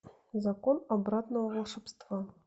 закон обратного волшебства